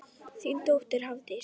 Þín dóttir, Hafdís.